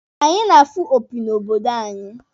Anyị na-afụ opi n'obodo anyị.